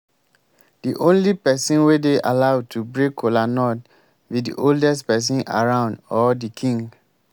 the only person wey dey allowed to break kola nut be the oldest person around or the king